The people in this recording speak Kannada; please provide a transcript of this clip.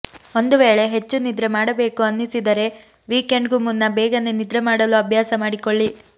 ಒಂದು ವೇಳೆ ಹೆಚ್ಚು ನಿದ್ರೆ ಮಾಡಬೇಕು ಅನ್ನಿಸಿದರೆ ವೀಕೆಂಡ್ಗೂ ಮುನ್ನ ಬೇಗನೆ ನಿದ್ರೆ ಮಾಡಲು ಅಭ್ಯಾಸ ಮಾಡಿಕೊಳ್ಳಿ